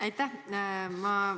Aitäh!